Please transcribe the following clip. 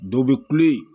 Dɔ bɛ kule